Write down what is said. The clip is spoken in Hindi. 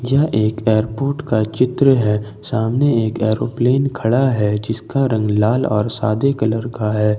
यह एक एयरपोर्ट का चित्र है सामने एक एरोप्लेन खड़ा है जिसका रंग लाल और सादे कलर का है।